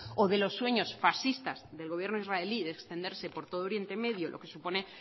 o de los sueños fascistas del gobierno israelí de extenderse por todo oriente medio lo que supone